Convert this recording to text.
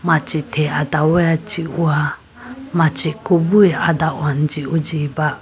Machi they adawa jihowa machi kobu adahone jihojiba.